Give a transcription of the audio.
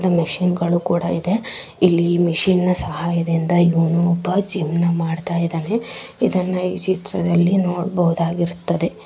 ಇಲ್ಲಿ ಮಿಷಿನಗಳು ಕುಡ ಇದೆ ಇಲ್ಲಿ ಮಿಷಿನ್ ಸಹಾಯದಿಂದ ಇವನು ಒಬ್ಬ ಜೀವನ್ ಮಾಡ್ತಾ ಇದ್ದಾನೆ. ಇದನ ಈ ಚಿತ್ರದಲ್ಲಿ ನೋಡಬಹುದುದಾಗಿರುತ್ತದೆ